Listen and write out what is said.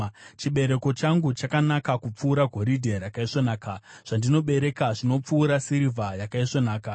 Chibereko changu chakanaka kupfuura goridhe rakaisvonaka; zvandinobereka zvinopfuura sirivha yakaisvonaka.